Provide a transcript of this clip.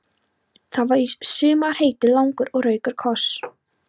Það var í sumar heitur, langur og rakur koss.